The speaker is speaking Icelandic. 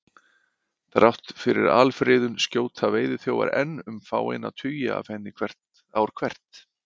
Þrátt fyrir alfriðun skjóta veiðiþjófar enn um fáeina tugi af henni ár hvert.